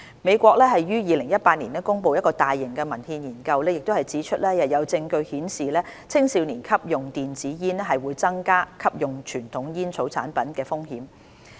美國於2018年公布的大型文獻研究亦指出有證據顯示青少年吸用電子煙會增加吸用傳統煙草產品的風險。